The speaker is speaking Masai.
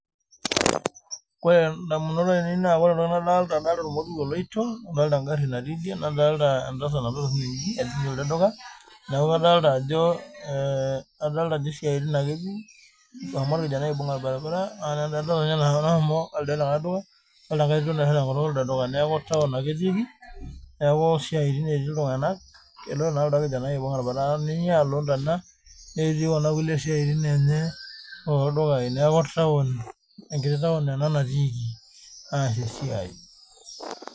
Ore endamunoto ainei adolita ormoruo oloito nadolita egari natii Edie nadolita entasat naloito elde duka adolita Ajo siatin ake etii ehomo orkijanai aibung orbaribara adolita enkae Tito naitashe tenkutuk elido duka nekuu taoni ake etikii oo siaitin etii iltung'ana eloito naa lildo kijanani aibung orbaribara netii kulie Kuna siatin enye oo ldukai neeku enkiti taoni ena natikii as esiai